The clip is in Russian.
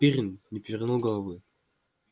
пиренн не повернул головы